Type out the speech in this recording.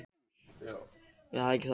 Frumefnin í sólinni okkar.